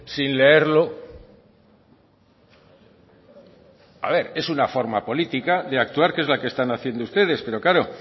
sin leerlo a ver es una forma política de actuar que es la que están haciendo ustedes pero claro